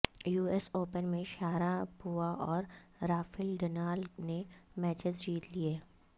you S Open میں Sharapova اور Rafael Nadal نے میچز جیت لئے